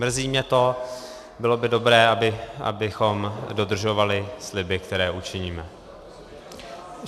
Mrzí mě to, bylo by dobré, abychom dodržovali sliby, které učiníme.